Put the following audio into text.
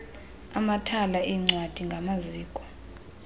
amathala eencwadi ngamaziko